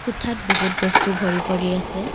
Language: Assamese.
কোঠাত বহুত বস্তু ভৰি পৰি আছে।